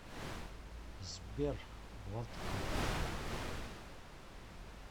сбер водка